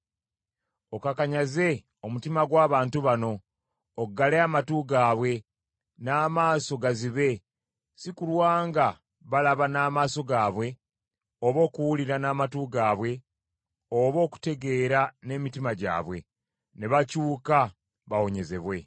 Okakanyaze omutima gw’abantu bano, oggale amatu gaabwe, n’amaaso gazibe si kulwa nga balaba n’amaaso gaabwe oba okuwulira n’amatu gaabwe oba okutegeera n’emitima gyabwe ne bakyuka bawonyezebwe.”